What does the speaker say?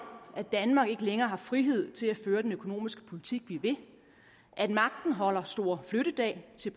at danmark ikke længere har frihed til at føre den økonomiske politik vi vil at magten holder store flyttedag til